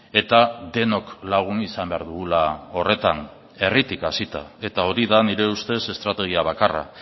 eta denok lagun izan behar dugula horretan herritik hasita eta hori da nire ustez estrategia bakarra